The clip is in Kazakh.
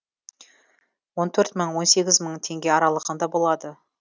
он төрт мың мен он сегіз мың теңге аралығында болады